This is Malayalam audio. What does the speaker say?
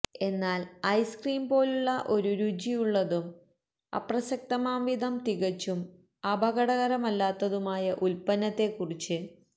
എന്നാൽ ഐസ്ക്രീം പോലുള്ള ഒരു രുചിയുള്ളതും അപ്രസക്തമാംവിധം തികച്ചും അപകടകരമല്ലാത്തതുമായ ഉൽപ്പന്നത്തെക്കുറിച്ച്